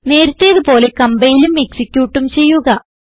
നേരത്തേതു പോലെ കംപൈലും എക്സിക്യൂട്ടും ചെയ്യുക